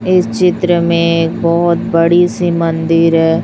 इस चित्र में एक बहोत बड़ी सी मन्दिर है।